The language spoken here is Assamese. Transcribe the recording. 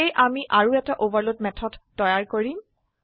সেয়ে আমি আৰু এটা ওভাৰলোড মেথড তৈয়াৰ কৰিম